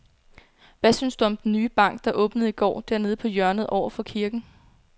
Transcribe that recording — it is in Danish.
Hvad synes du om den nye bank, der åbnede i går dernede på hjørnet over for kirken?